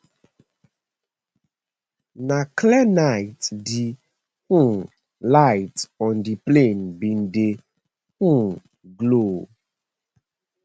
na clear night di um lights on di plane bin dey um glow